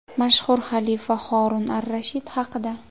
Mashhur xalifa Horun ar-Rashid haqida.